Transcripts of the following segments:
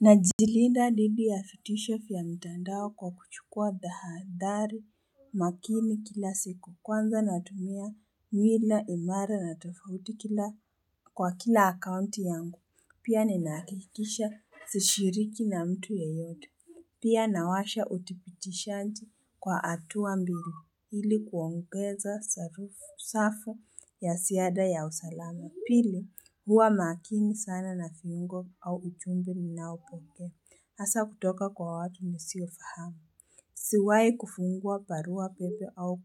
Najilinda dhidi ya vitisho vya mitandao kwa kuchukua tahadhari makini kila siku kwanza natumia nywila imara na tofauti kila kwa kila akaunti yangu pia ninahakikisha sishiriki na mtu yeyote Pia nawasha utipitishanji kwa hatua mbili ili kuongeza safu ya ziada ya usalama Pili, huwa makini sana na viungo au ujumbe ninaopokea Hasa kutoka kwa watu nisiofahamu. Siwai kufungua barua pepe au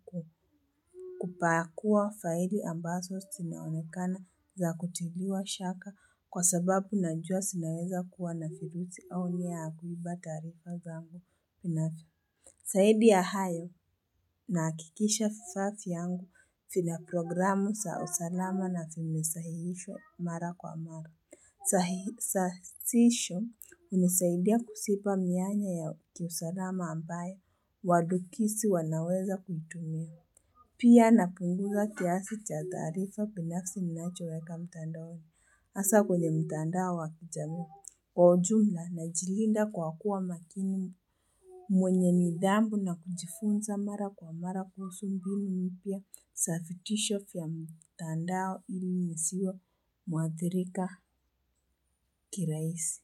kupakua faili ambazo zinaonekana za kutiliwa shaka kwa sababu najua zinaweza kuwa na virusi au nia ya kuiba taarifa zangu. Zaidi ya hayo nahakikisha vifaa vyangu vina programu za usalama na vimesahihishwa mara kwa mara. Sashisho hunisaidia kuziba mianya ya kiusalama ambayo wadukisi wanaweza kuitumia. Pia napunguza kiasi cha taarifa binafsi ninachoweka mtandaoni hasa kwenye mtandao wa kijamii kwa ujumla najilinda kwa kuwa makini. Mwenye nidhamu na kujifunza mara kwa mara kuhusu mbinu mpya za vitisho vya mtandao ili nisiwe mwathirika kirahisi.